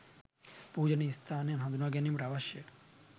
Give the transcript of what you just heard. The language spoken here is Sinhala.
පූජනීය ස්ථානයන් හඳුනා ගැනීමට අවශ්‍ය